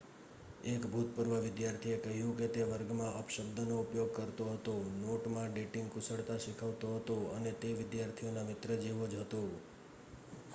એક ભૂતપૂર્વ વિદ્યાર્થીએ કહ્યું કે તે વર્ગમાં અપશબ્દનો ઉપયોગ કરતો હતો નોટમાં ડેટિંગ કુશળતા શીખવતો હતો અને તે વિદ્યાર્થીઓના મિત્ર જેવો જ હતો.'